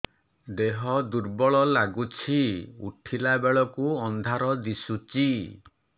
ଦେହ ଦୁର୍ବଳ ଲାଗୁଛି ଉଠିଲା ବେଳକୁ ଅନ୍ଧାର ଦିଶୁଚି